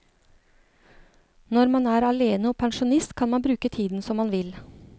Når man er alene og pensjonist, kan man bruke tiden som man vil.